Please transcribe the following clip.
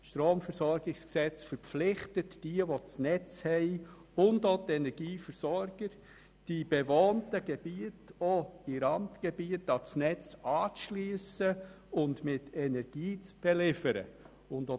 Das Stromversorgungsgesetz verpflichtet die Netzeigentümer und ebenfalls die Energieversorger, auch die bewohnten Gebiete in Randregionen an das Netz anzuschliessen und mit Energie zu beliefern.